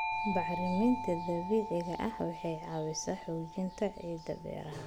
Bacriminta dabiiciga ah waxay caawisaa xoojinta ciidda beeraha.